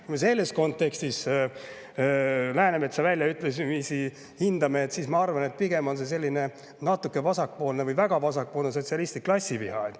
Kui me selles kontekstis Läänemetsa väljaütlemist hindame, siis ma arvan, et see pigem on väga vasakpoolne sotsialistlik klassiviha.